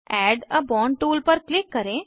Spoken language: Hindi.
एड आ बोंड टूल पर क्लिक करें